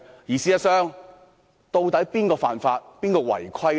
事實上，現在是誰犯法、違規呢？